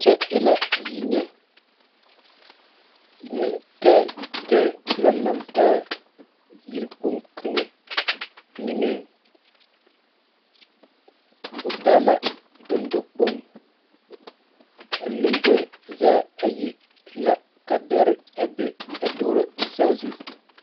Kyɛ e la yinyɛ nentɛɛtɛɛ la laŋ taa yikpoŋ kaŋa niŋeŋ o taa la dendɔkpoŋ a lamboe zaa ayi e la ka dɛre a be a duoro saazu.